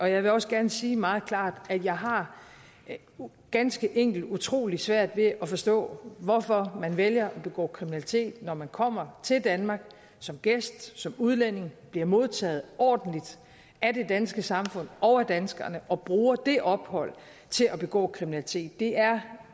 jeg vil også gerne sige meget klart at jeg har ganske enkelt utrolig svært ved at forstå hvorfor man vælger at begå kriminalitet når man kommer til danmark som gæst som udlænding bliver modtaget ordentligt af det danske samfund og af danskerne og bruger det ophold til at begå kriminalitet det er